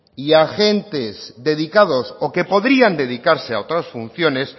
y agentes dedicados o que podrían dedicarse a otras funciones